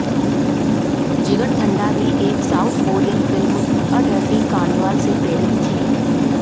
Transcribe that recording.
जिगरथंडा भी एक south Korean film a dirty carnival से प्रेरित थी